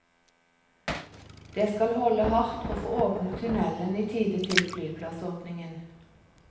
Det skal holde hardt å få åpnet tunnelen i tide til flyplassåpningen.